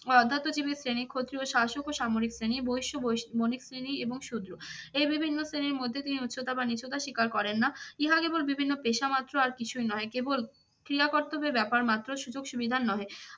ও অধ্যাত্ম জীবের শ্রেণী ক্ষত্রিয় শাসক ও সামরিক শ্রেণী, বৈশ বণিক শ্রেণী এবং শূদ্র। এই বিভিন্ন শ্রেণীর মধ্য দিয়ে উচ্চতা নিচুতা শিকার করেন না। ইহা কেবল বিভিন্ন পেশা মাত্র আর কিছুই নহে। কেবল ক্রিয়া কর্তব্যের ব্যাপার মাত্র সুযোগ সুবিধার নহে ।